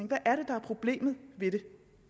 hvad er det der er problemet ved det